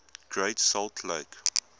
great salt lake